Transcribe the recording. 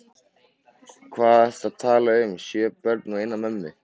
Hvað ertu að tala um sjö börn og eina mömmu?